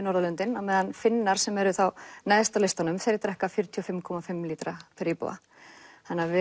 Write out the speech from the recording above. Norðurlöndin á meðan Finnar sem eru neðst á listanum þeir drekka fjörutíu og fimm komma fimm lítra per íbúa þannig við